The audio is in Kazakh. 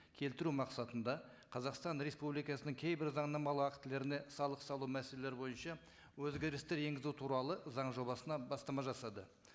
келтіру мақсатында қазақстан республикасының кейбір заңнамалық актілеріне салық салу мәселелері бойынша өзгерістер енгізу туралы заң жобасына бастама жасады